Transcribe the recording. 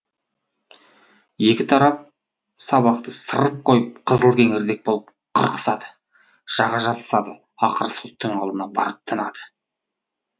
екі тарап сабақты сырып қойып қызылкеңірдек болып қырқысады жаға жыртысады ақыры соттың алдына барып тынады